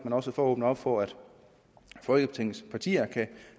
også for at åbne op for at folketingets partier kan